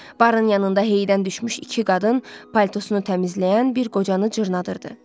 Barın yanında heydən düşmüş iki qadın paltosunu təmizləyən bir qocanı cırnadırdı.